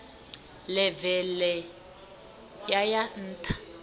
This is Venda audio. ḽeve ḽe ya ya nṱha